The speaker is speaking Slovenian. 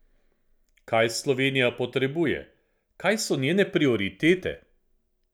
Kaj Slovenija potrebuje, kaj so njene prioritete?